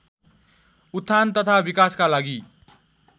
उत्थान तथा विकासका लागि